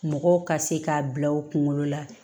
Mɔgɔw ka se k'a bila u kunkolo la